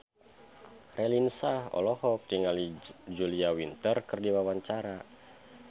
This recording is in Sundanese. Raline Shah olohok ningali Julia Winter keur diwawancara